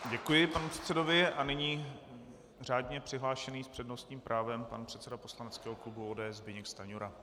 Děkuji panu předsedovi a nyní řádně přihlášený s přednostním právem pan předseda poslaneckého klubu ODS Zbyněk Stanjura.